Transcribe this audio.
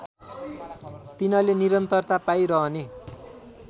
तिनले निरन्तरता पाइरहने